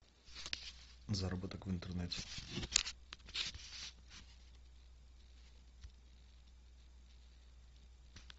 заработок в интернете